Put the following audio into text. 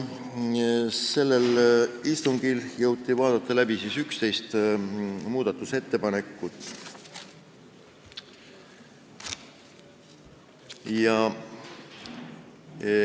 Sellel istungil jõuti läbi vaadata 11 muudatusettepanekut.